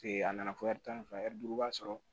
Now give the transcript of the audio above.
a nana fɔ ɛri tanyɛri duuru b'a sɔrɔ